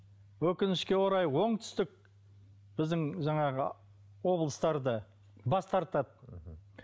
өкінішке орай оңтүстік біздің жаңағы облыстар да бас тартады мхм